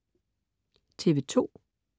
TV2: